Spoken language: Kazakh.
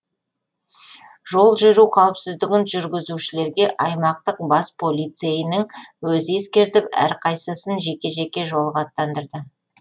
жол жүру қауіпсіздігін жүргізушілерге аймақтық бас полицейінің өзі ескертіп әрқайсысын жеке жеке жолға аттандырды